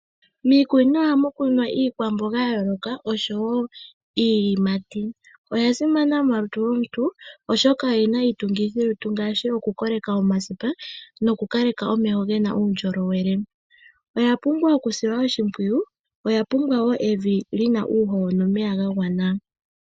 Miikunino ohamu kunwa iikwambonga yayolokathana nosho woo iiyimati, oyasimana molutu lwontu, oshoka oyina iitungithilutu ngaashi okukoleka omasipa, nokukaleka omeho ngena uundjolowele. Iimeno oyapumbwa okusilwa oshimpwiyu, oyapumbwa woo evi lyina uuhoho nomeya gagwana.